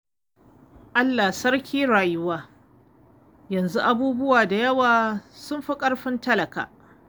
Allah sarki rayuwa! Yanzu abubuwa da yawa sun fi ƙarfin talaka.